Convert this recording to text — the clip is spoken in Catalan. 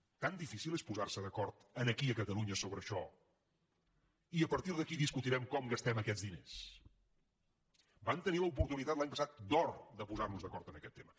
tan difícil és posarse d’acord aquí a catalunya sobre això i a partir d’aquí discutirem com gastem aquests diners vam tenir l’oportunitat l’any passat d’or de posarnos d’acord en aquest tema